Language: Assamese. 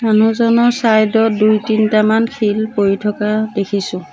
মানুহজনৰ চাইড ত দুই তিনটামান শিল পৰি থকা দেখিছোঁ।